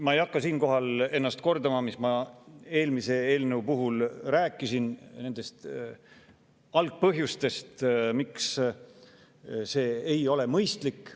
Ma ei hakka siinkohal ennast kordama, mis ma eelmise eelnõu puhul rääkisin algpõhjustest ja sellest, miks see ei ole mõistlik.